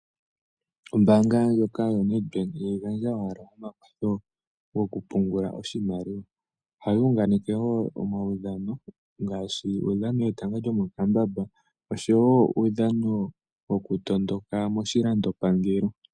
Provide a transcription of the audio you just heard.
Ombaanga ndjoka yo Ned Bank iha yi gandja owala omakwath goku pungula oshimaliwa , oha yi unganeke wo omaudhano, ngaashi uudhano wetanga lyo mokambamba, osho wo uudhano woku tondoka moshilandopangelo.